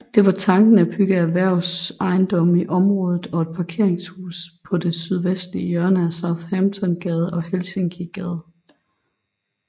Det er tanken at bygge erhvervsejendomme i området og et parkeringshus på det sydvestlige hjørne af Southamptongade og Helsinkigade